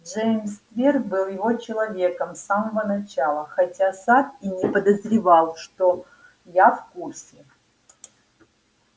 джеймс твер был его человеком с самого начала хотя сатт и не подозревал что я в курсе